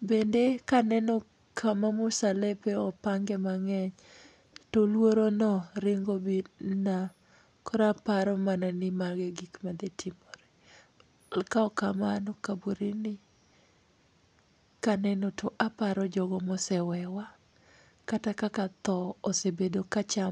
bende kaneno kuma musalepe opange mang'eny to luorono ringo birona koro aparo mana ni mago e gik madhi timore. Kaok kamano kaburini kaneno to aparo jogo ma osewewa, tho osebedo ka chamo